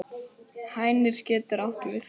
Hænir getur átt við